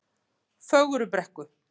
Fögrubrekku